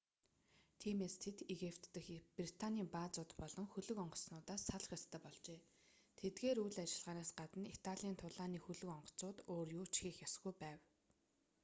тиймээс тэд египет дэх британийн баазууд болон хөлөг онгоцнуудаас салах ёстой болжээ тэдгээр үйл ажиллагаанаас гадна италийн тулааны хөлөг онгоцнууд өөр юу ч хийх ёсгүй байв